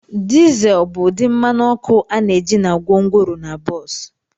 Diesel bụ ụdị mmanụ ọkụ a na-eji na gwongworo na bọs.